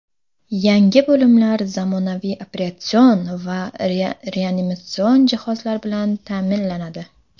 Yangi bo‘limlar zamonaviy operatsion va reanimatsion jihozlar bilan ta’minlanadi.